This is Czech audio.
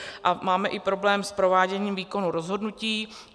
A máme i problém s prováděním výkonu rozhodnutí.